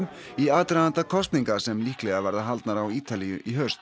í aðdraganda kosninga sem líklega verða haldnar á Ítalíu í haust